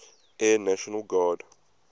air national guard